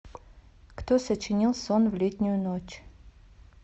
кто сочинил сон в летнюю ночь